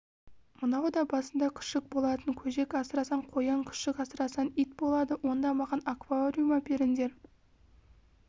мынау да басында күшік болатын көжек асырасаң қоян күшік асырасаң ит болады онда маған аквариум әперіңдер